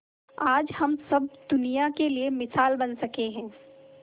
आज हम सब दुनिया के लिए मिसाल बन सके है